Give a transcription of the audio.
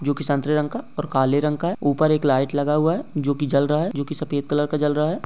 जो की संतरे रंग का और काले रंग का है ऊपर एक लाइट लगा हुआ है जो की जल रहा है जो की सफेद कलर का जल रहा है।